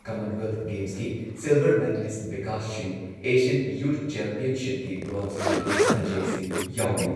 Commonwealth ꯒꯦꯝꯁꯀꯤ silver medallist Bikash Singh, Asian youth ꯆꯦꯝꯄꯤꯌꯟꯁꯤꯞꯀꯤ bronze medallist Aji Singh ꯌꯥꯎꯔꯤ꯫